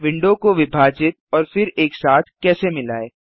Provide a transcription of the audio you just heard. window को विभाजित और फिर एक साथ कैसे मिलायें